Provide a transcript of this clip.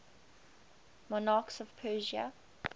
monarchs of persia